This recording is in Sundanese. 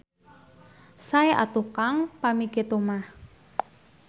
Sae atuh Kang pami kitu mah.